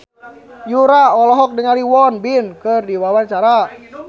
Yura olohok ningali Won Bin keur diwawancara